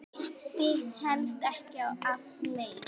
Missti helst ekki af leik.